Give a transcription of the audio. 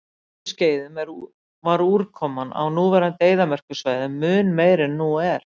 Á jökulskeiðum var úrkoma á núverandi eyðimerkursvæðum mun meiri en nú er.